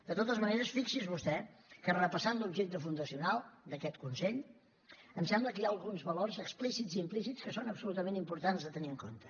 de totes maneres fixi’s vostè que repassant l’objecte fundacional d’aquest consell em sembla que hi ha alguns valors explícits i implícits que són absolutament importants de tenir en compte